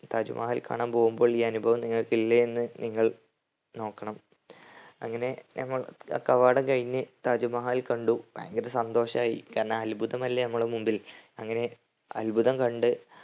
താജ് മഹൽ കാണാൻ പോകുമ്പോൾ ഈ അനുഭവം നിങ്ങക് ഇല്ലേയെന്ന് നിങ്ങൾ നോക്കണം. അങ്ങനെ നമ്മൾ ക കവാടം കഴിഞ്ഞ് താജ് മഹൽ കണ്ടു ഭയങ്കര സന്തോഷായി. കാരണം അത്ഭുതമല്ലേ നമ്മളെ മുമ്പിൽ അങ്ങനെ അത്ഭുതം കണ്ട്